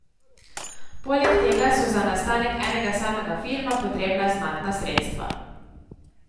Poleg tega so za nastanek enega samega filma potrebna znatna sredstva.